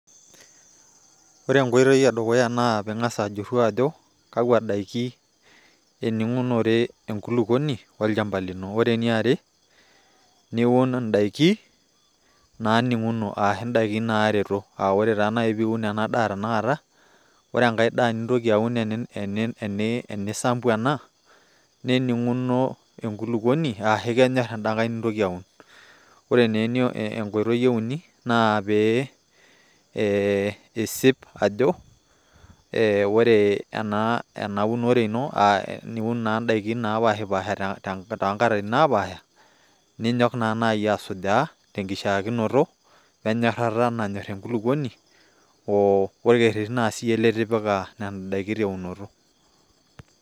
ore enkoitoi edukuya naa pee ingas ayiolou ajo kakua daiki ening'unore enkulupuoni olchampa lino, ore eniare niun idaikin naaninguno, ore taa taata ore pee iun ena daa tena kata, ore enkae daa nintoki aun, enisampu ena, nening'uno, enkuluoni, ashu kenyor eda nkae nintoki aun. ore naa enkoitoi euni naa pee isip ajo ore ena uneore ino, niiun naa daikin naapahipaha too nkatitin napaaha, ninyok naa naaji asujaa, tenkishaakinoto, we nyorata nayor enkuluoni, orkerti naa siyie litipika nena daikin teunoto.